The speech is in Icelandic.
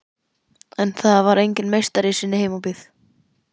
En það er enginn meistari í sinni heimabyggð.